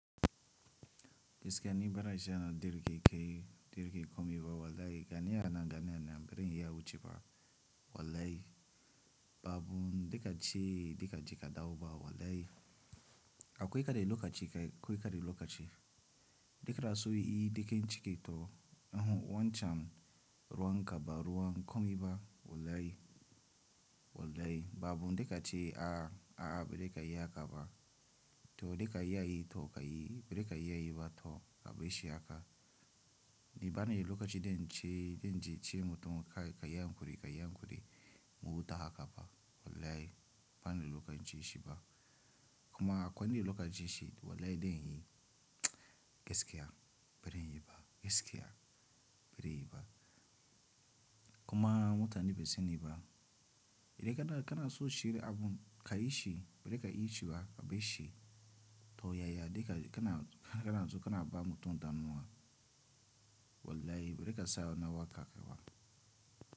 Gaskiya ni bara shi yana da irin kai, da irin komai ba wallahi gani yana gani ne, bari in yi abun ce ba wallahi. Babu daka ce, daka ce ka dau ba wallahi. Akwai kaɗai lokaci, akwai kaɗai lokaci. Da kana so yi, da kin cike to yahu wancan ruwan kaba, ruwan komai ba wallahi, wallahi babu daka ce a, a bari ka yi haka ba. To da ka yi, to ka yi bari ka yi ba to ka bashi haka. Ni bana yi lokacin da in ce, da in ce mutum kai, ka yi an kuri, ka yi an kuri. Mu wuta haka ba wallahi bana yi lokacin ce shi ba. Kuma akwai wani lokacin ce shi wallahi dan hi gaskiya bari in yi ba gaskiya bari yi ba. Kuma mutane basu sani ni ba. Da kana, kana so shirya abun ka yi shi bari ka yi shi ba ka bashi. To yaya da kana, kana so kana ba mutum damuwa wallahi bari ka sayo nawa ka kaiwa.